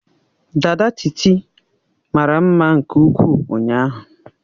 Dada Titi mara mma nke ukwuu ụnyaahụ.